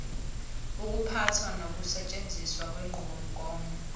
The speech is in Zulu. ukuphatha nokusetshenziswa kwenqubomgomo